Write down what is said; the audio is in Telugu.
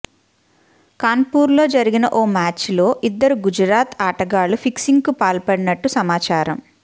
కాన్పూర్లో జరిగిన ఓ మ్యాచ్లో ఇద్దరు గుజరాత్ ఆటగాళ్లు ఫిక్సింగ్కు పాల్పడినట్టు సమాచారం